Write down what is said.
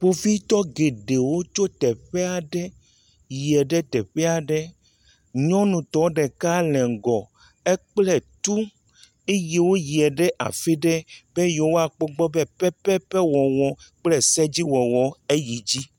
Kpovitɔ geɖewo tsɔ teƒe aɖe yie ɖe teƒe aɖe, nyɔnutɔ ɖeka le ŋgɔ eye ekpla tu eye woyia ɖe afi ɖe be yewoakpɔ egbɔ be pepepe wɔwɔ kple sedziwɔwɔ yi edzi.